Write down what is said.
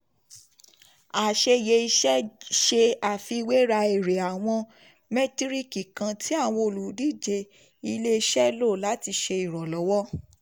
àṣeyẹ iṣẹ́ ṣe àfiwéra èrè àwọn mẹ́tíríkì kán tí àwọn ólùdíje ilé-iṣẹ́ lò láti ṣe ìrànlọ́wọ́.